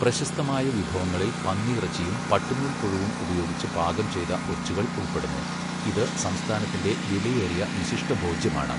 പ്രശസ്തമായ വിഭവങ്ങളിൽ പന്നിയിറച്ചിയും പട്ടുനൂൽ പുഴുവും ഉപയോഗിച്ച് പാകം ചെയ്ത ഒച്ചുകൾ ഉൾപ്പെടുന്നു, ഇത് സംസ്ഥാനത്തിന്റെ വിലയേറിയ വിശിഷ്ടഭോജ്യമാണ്.